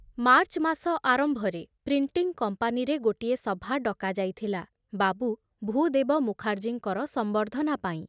March ମାସ ଆରମ୍ଭରେ printing କମ୍ପାନୀରେ ଗୋଟିଏ ସଭା ଡକା ଯାଇଥିଲା ବାବୁ ଭୂଦେବ ମୁଖାର୍ଜୀଙ୍କର ସମ୍ବର୍ଦ୍ଧନା ପାଇଁ।